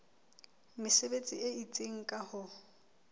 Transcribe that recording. mesebetsi e itseng ka ho